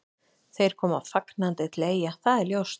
Þeir koma fagnandi til Eyja, það er ljóst.